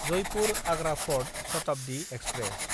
Jaipur Agra fort Shatabdi express